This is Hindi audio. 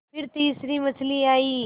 फिर तीसरी मछली आई